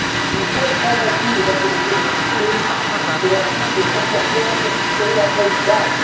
Nous sommes convaincus, Mesdames et Messieurs les députés, que l'article 114 est la bonne base.